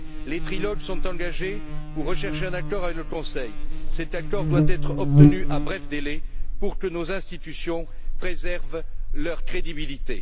Les trilogues sont engagés pour rechercher un accord avec le Conseil. Cet accord doit être obtenu rapidement pour que nos institutions préservent leur crédibilité.